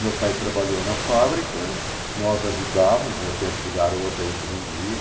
Meu pai trabalhou na fábrica, nós ajudávamos, no meu tempo de garoto a gente vendia.